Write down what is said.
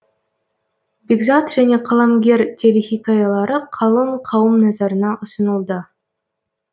бекзат және қаламгер телехикаялары қалың қауым назарына ұсынылды